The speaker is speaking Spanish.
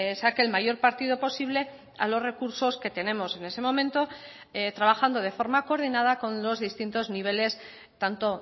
saque el mayor partido posible a los recursos que tenemos en ese momento trabajando de forma coordinada con los distintos niveles tanto